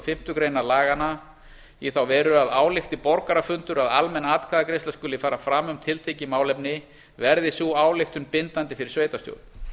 fimmtu grein laganna í þá veru að álykti borgarafundur að almenn atkvæðagreiðsla skuli fara fram um tiltekið málefni verði sú ályktun bindandi fyrir sveitarstjórn